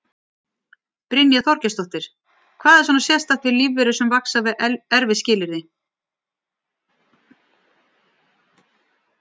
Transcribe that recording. Brynja Þorgeirsdóttir: Hvað er svona sérstakt við lífverur sem vaxa við erfið skilyrði?